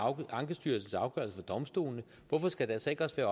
ankestyrelsens afgørelse for domstolene hvorfor skal der så ikke